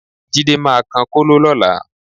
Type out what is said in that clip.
Jídé máa kan kóló lọ́la